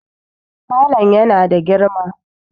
falon yana da girma